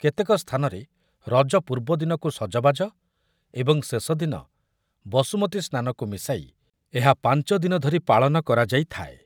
କେତେକ ସ୍ଥାନରେ ରଜ ପୂର୍ବଦିନକୁ ସଜବାଜ ଏବଂ ଶେଷ ଦିନ ବସୁମତୀ ସ୍ନାନକୁ ମିଶାଇ ଏହା ପାଞ୍ଚ ଦିନ ଧରି ପାଳନ କରାଯାଇଥାଏ ।